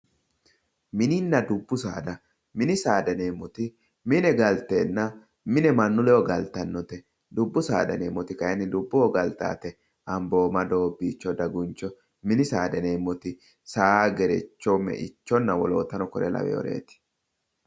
Mininna dubbu saada mini saada yineemmoti mine mine galtenna mine mannu ledo galtannote dubbu saada yineemmoti kayinni dubboho galtannote ambooma doobbicho daguncho mini saada yineemmoti saa gerechonna me"icho wolootano kore lawinoreeti.